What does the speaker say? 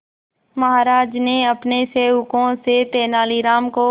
महाराज ने अपने सेवकों से तेनालीराम को